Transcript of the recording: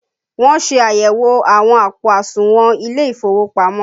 Wọn ṣe àyẹ̀wò àwọn àpò àsùnwọ̀n ilé ìfowópamọ́